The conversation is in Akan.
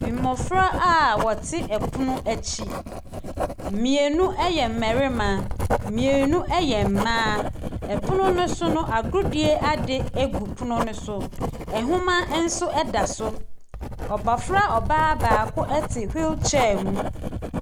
Mmofra a wɔte pono akyi. Mmienu yɛ mmarima, mmienu yɛ mmaa. Pono no so no, agodie adeɛ gu pono no so. Nhoma nso da so. Abofra ɔbaa baako te wheel chair mu.